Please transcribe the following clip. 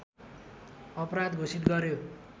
अपराध घोषित गर्यो